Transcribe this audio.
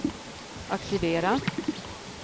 aktivera